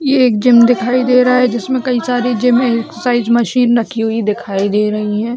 ये एक जिम दिखाई दे रहा है जिसमें कई सारे जिम एक्ससरसाइज मशीन रखी हुई दिखाई दे रही हैं।